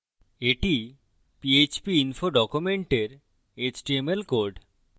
এটি php info document এর html code